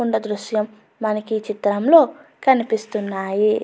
ఉన్న దృశ్యం మనకి ఈ చిత్రంలో కనిపిస్తున్నాయి.